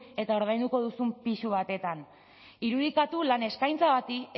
eta ordainduko duzun pisu batean irudikatu lan eskaintza bati